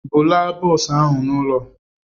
Bulaa bọsụ ah ụ n'ụlọ!